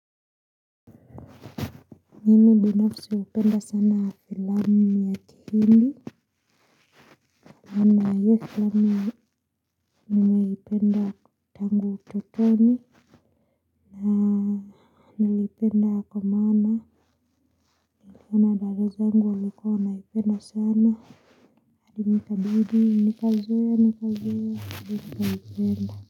Mimi binafsi hupenda sana filamu ya kihindi. Na hio filamu ninayoipenda tango ututoni, na nilipenda kwa maana nikona dada zangu walikuwa wanaipenda sana, hadi nikabidi nikazoea nikazoea hadi nikaipenda.